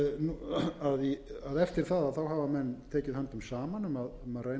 má að notfæra sér þá tæknilegu möguleika sem fyrir